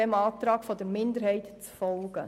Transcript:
Wir bitten Sie, dem Minderheitsantrag zu folgen.